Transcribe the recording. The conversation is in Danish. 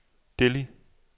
Delhi